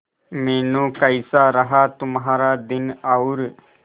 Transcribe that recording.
मीनू कैसा रहा तुम्हारा दिन और